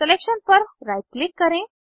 selection पर right click करें